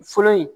Fɔlɔ in